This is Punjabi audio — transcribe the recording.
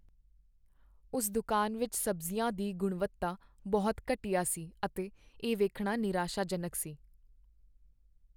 ਉਸ ਦੁਕਾਨ ਵਿੱਚ ਸਬਜ਼ੀਆਂ ਦੀ ਗੁਣਵੱਤਾ ਬਹੁਤ ਘਟੀਆ ਸੀ ਅਤੇ ਇਹ ਵੇਖਣਾ ਨਿਰਾਸ਼ਾਜਨਕ ਸੀ।